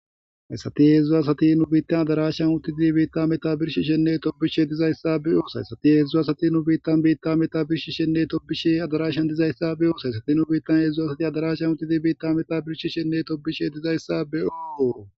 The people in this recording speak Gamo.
Hedzu assati nu bitta meadarashan utidi bitta meta birishishene tobishe dizayissa beyossi Hedzu assati nu bitta meadarashan utidi bitta meta birishishene tobishe dizayissa beyossi Hedzu assati nu bitta meadarashan utidi bitta meta birishishene tobishe dizayissa beyossi